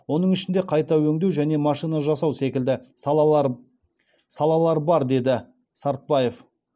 оның ішінде қайта өңдеу және машина жасау секілді салалар салалар бар деді сартбаев